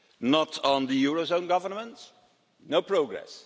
not on the eurozone governments, no progress.